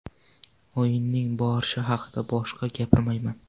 O‘yinning borishi haqida boshqa gapirmayman.